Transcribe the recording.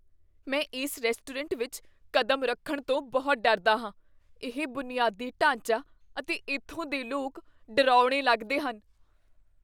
ਮੈਂ ਇਸ ਰੈਸਟੋਰੈਂਟ ਵਿੱਚ ਕਦਮ ਰੱਖਣ ਤੋਂ ਬਹੁਤ ਡਰਦਾ ਹਾਂ। ਇਹ ਬੁਨਿਆਦੀ ਢਾਂਚਾ ਅਤੇ ਇੱਥੋਂ ਦੇ ਲੋਕ ਡਰਾਉਣੇ ਲੱਗਦੇ ਹਨ।